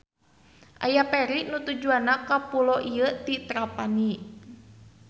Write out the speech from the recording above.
Aya feri nu tujuanna ka pulo ieu ti Trapani.